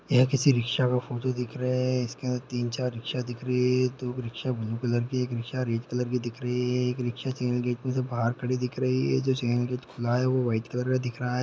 यह किसी रिक्शा का फोटो दिख रहा है इसके अंदर तीन चार रिक्शा दिख रही है दो रिक्शा ब्लू कलर एक रिक्शा रेड कलर की दिख रहीं है एक रिक्शा चैनल गेट में से बाहर खड़ी दिख रही है जो चैनल गेट खुला है और वाइट कलर का दिख रहा हैं।